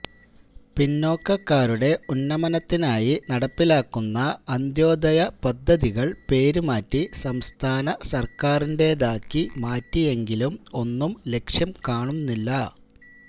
പിന്നോക്കക്കാരുടെ ഉന്നമനത്തിനായി നടപ്പിലാക്കുന്ന അന്ത്യോദയ പദ്ധതികള് പേര് മാറ്റി സംസ്ഥാന സര്ക്കാരിന്റേതാക്കി മാറ്റിയെങ്കിലും ഒന്നും ലക്ഷ്യം കാണുന്നില്ല